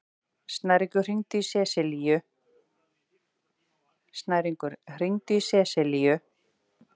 Snæringur, hringdu í Seselíu.